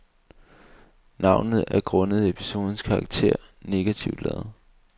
Navnet er grundet episodens karakter negativ ladet.